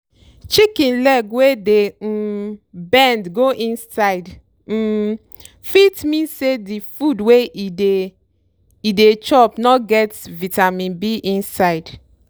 chicken leg wey dey um bend go inside um fit mean say di food wey e dey e dey chop no get vitamin b inside.